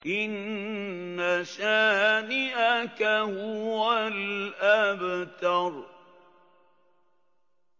إِنَّ شَانِئَكَ هُوَ الْأَبْتَرُ